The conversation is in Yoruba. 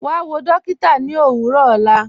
Wà wọ̀ dọ̀kìtà ní òwurọ̀ ọlá